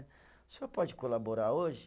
O senhor pode colaborar hoje?